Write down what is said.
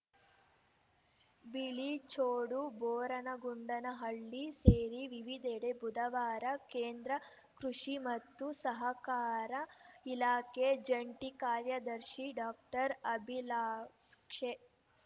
ಬಿಳಿಚೋಡು ಬೋರಗೊಂಡನಹಳ್ಳಿ ಸೇರಿ ವಿವಿಧೆಡೆ ಬುಧವಾರ ಕೇಂದ್ರ ಕೃಷಿ ಮತ್ತು ಸಹಕಾರ ಇಲಾಖೆ ಜಂಟಿ ಕಾರ್ಯದರ್ಶಿ ಡಾಕ್ಟರ್ ಅಭಿಲಾಕ್ಷೇ